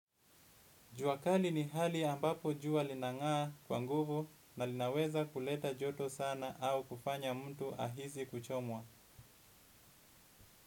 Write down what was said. Jua kali ni hali ambapo jua linangaa kwa nguvu na linaweza kuleta joto sana au kufanya mtu ahisi kuchomwa.